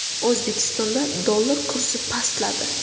O‘zbekistonda dollar kursi pastladi.